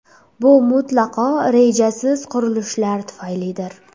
Bu mutlaqo rejasiz qurilishlar tufaylidir.